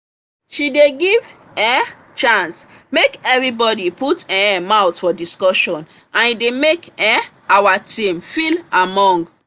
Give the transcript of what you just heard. she dey give um chance make everybody put um mouth for discussion and e dey make um our team feel among